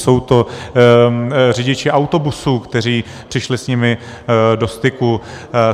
Jsou to řidiči autobusů, kteří přišli s nimi do styku.